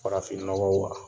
Farafin nɔgɔw wa?